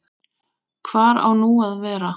Hvar á nú að vera?